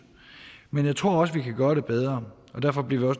men jeg tror også at vi kan gøre det bedre og derfor bliver